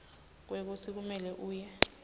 kwekutsi kumele uye